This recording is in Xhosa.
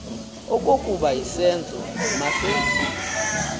okokuba isenzo masenziwe